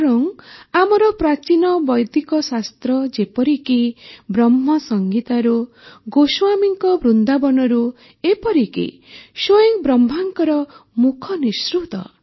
ବରଂ ଆମର ପ୍ରାଚୀନ ବୈଦିକଶାସ୍ତ୍ର ଯେପରିକି ବ୍ରହ୍ମସଂହିତାରୁ ଗୋସ୍ୱାମୀଙ୍କ ବୃନ୍ଦାବନରୁ ଏପରିକି ସ୍ୱୟଂ ବ୍ରହ୍ମାଙ୍କର ମୁଖନିସୃତ